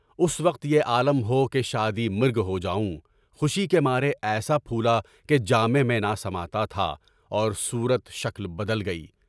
اُس وقت یہ عالم ہو کہ شادی مرگ ہو جاؤں، خوشی کے مارے ایسا پھولا کہ جامے میں نہ سمانا تھا اور صورت شکل بدل گئی۔